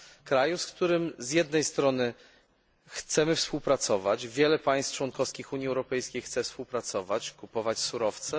Kraju, z którym z jednej strony chcemy współpracować, wiele państw członkowskich Unii Europejskiej chce współpracować, kupować surowce.